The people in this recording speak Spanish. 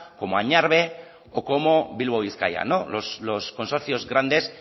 como añarbe o como bilbao bizkaia no los consorcios grandes